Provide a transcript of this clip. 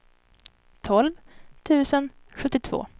tolv tusen sjuttiotvå